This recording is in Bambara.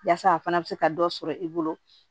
Yaasa a fana bɛ se ka dɔ sɔrɔ i bolo